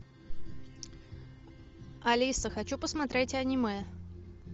алиса хочу посмотреть аниме